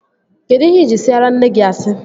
Kedụ ihe ị ji siara nne gị asị?